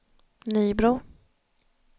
Nybro